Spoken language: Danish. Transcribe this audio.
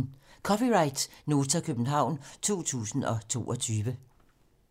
(c) Nota, København 2022